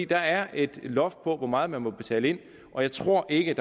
der er et loft over hvor meget man må betale ind og jeg tror ikke